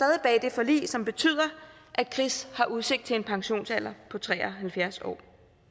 forlig som betyder at chris har udsigt til en pensionsalder på tre og halvfjerds år